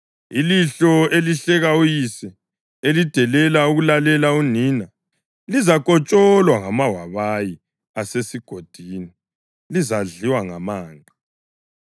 Ilihlo elihleka uyise, elidelela ukulalela unina, lizakotsholwa ngamawabayi asesigodini, lizadliwa ngamanqe.